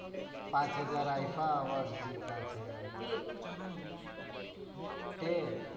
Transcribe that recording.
પાંચ હજ્જાર iifa award જીત્યા છે. તે